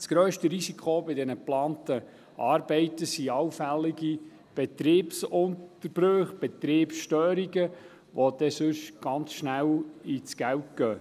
Das grösste Risiko bei den geplanten Arbeiten sind allfällige Betriebsunterbrüche, Betriebsstörungen, die schnell einmal ins Geld gehen.